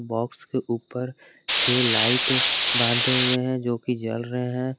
Box के ऊपर छे लाइट बंधे हुए है जो कि जल रहे है।